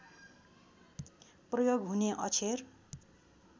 प्रयोग हुने अक्षर